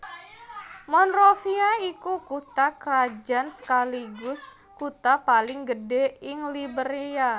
Monrovia iku kutha krajan sekaligus kutha paling gedhé ing Liberia